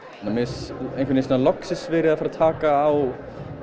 mér finnst einhvern veginn loksins verið að fara að taka á